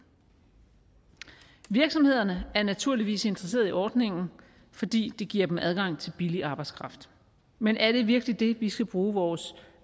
virksomhederne er naturligvis interesseret i ordningen fordi det giver dem adgang til billig arbejdskraft men er det virkelig det vi skal bruge vores